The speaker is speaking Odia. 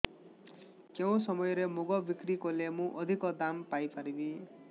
କେଉଁ ସମୟରେ ମୁଗ ବିକ୍ରି କଲେ ମୁଁ ଅଧିକ ଦାମ୍ ପାଇ ପାରିବି